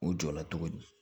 U jɔ la cogo di